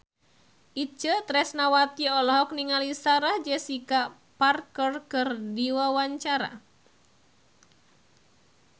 Itje Tresnawati olohok ningali Sarah Jessica Parker keur diwawancara